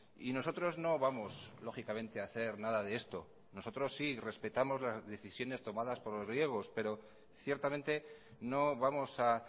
y nosotros no vamos lógicamente a hacer nada de esto nosotros sí respetamos las decisiones tomadas por los griegos pero ciertamente no vamos a